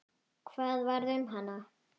Hvað varð um hana?